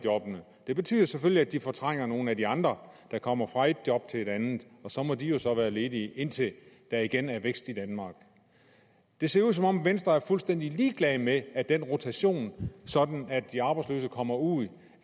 det betyder selvfølgelig at de fortrænger nogle af de andre der kommer fra et job til et andet og så må de jo så være ledige indtil der igen er vækst i danmark det ser ud som om venstre er fuldstændig ligeglad med at den rotation sådan at de arbejdsløse kommer ud